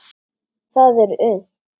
Það er unnt.